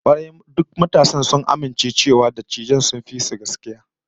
Kwarai, duk matasan sun amince cewa dattijan sun fi su gaskiya